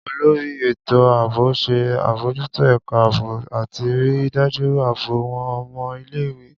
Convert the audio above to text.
Olori eto Aabo ṣe abojuto ẹka aabo ati rii daju aabo awọn ọmọ ile-iwe